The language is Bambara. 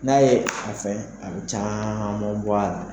N'a ye a fɛn a be caaman bɔ a la